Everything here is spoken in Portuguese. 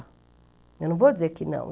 Eu não vou dizer que não.